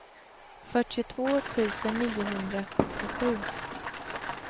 fyrtiotvå tusen niohundrasjuttiosju